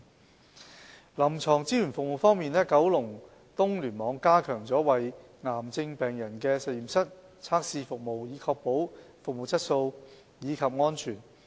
在臨床支援服務方面，九龍東聯網已加強為癌症病人提供的實驗室測試服務，以確保服務質素及安全。